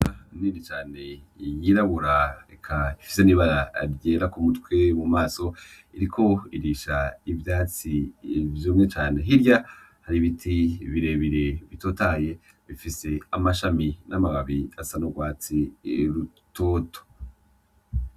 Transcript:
N'inka nini cane yirabura ifise n'ibara ryera kumutwe mumaso, iriko irisha ivyatsi vyumye cane, hirya hari ibiti birebire bitotaye bifise amashami n'amababi asa n'urwatsi rutoto.